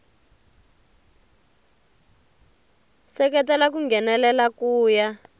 seketela ku nghenelela ku ya